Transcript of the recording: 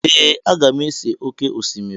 Ee! Aga m ese oké osimiri.